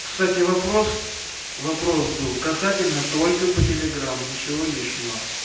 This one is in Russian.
кстати вопрос вопрос был касательно только по телеграмм ничего лишнего